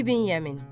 İbn Yəmin.